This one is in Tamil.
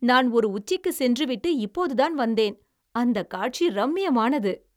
நான் ஒரு உச்சிக்குச் சென்று விட்டு இப்போதுதான் வந்தேன்! அந்தக் காட்சி ரம்மியமானது!